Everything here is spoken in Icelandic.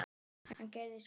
Hann gerði svo.